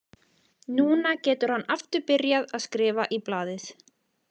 Núna getur hann aftur byrjað að skrifa í blaðið.